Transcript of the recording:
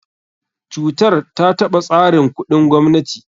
Cutar ta taɓa tsarin kuɗin gwamnati.